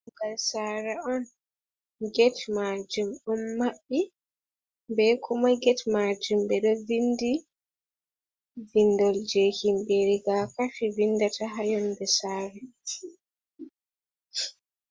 Dammugal saare on, get maajum ɗon maɓɓi, be kuma get maajum ɓe ɗo vinndi, vinndol jey himɓe rigakafi, vinndata haa yonnde saare.